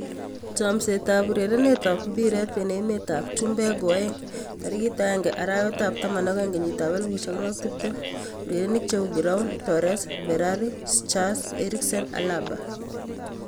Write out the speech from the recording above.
Chomset ab urerenet ab mbiret eng emet ab chumbek koaeng'01.12.2020: Giroud, Torres, Ferrari, Schuurs, Eriksen, Alaba.